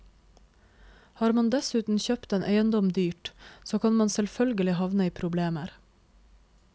Har man dessuten kjøpt en eiendom dyrt, så kan man selvfølgelig havne i problemer.